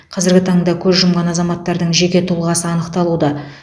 қазіргі таңда көз жұмған азаматтардың жеке тұлғасы анықталуда